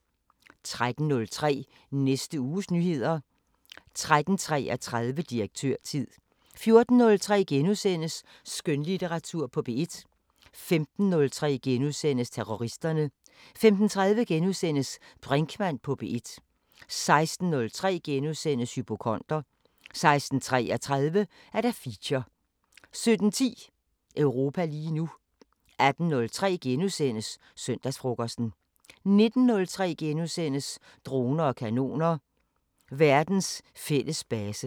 13:03: Næste uges nyheder 13:33: Direktørtid 14:03: Skønlitteratur på P1 * 15:03: Terroristerne * 15:30: Brinkmann på P1 * 16:03: Hypokonder * 16:33: Feature 17:10: Europa lige nu 18:03: Søndagsfrokosten * 19:03: Droner og kanoner: Verdens fælles base *